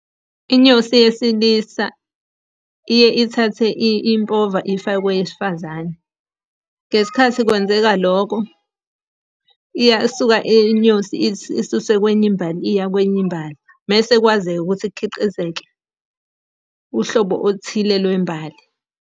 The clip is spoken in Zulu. Inyosi yesilisa, iye ithathe impova iyifake kweyesifazane. Ngesikhathi kwenzeka loko, iyasuka iy'nyosi isuse kwenye imbali iya kwenye imbali. Mese kwazeke ukuthi kukhiqizeke uhlobo oluthile lwembali.